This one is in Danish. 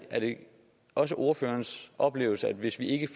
også ordførerens oplevelse at hvis ikke